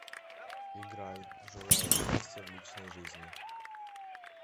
играй желаю счастья в личной жизни